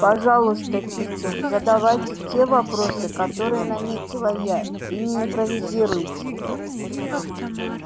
пожалуйста питер задавайте те вопросы которые наметила я и не импровизируйте